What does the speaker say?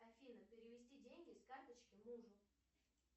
афина перевести деньги с карточки мужу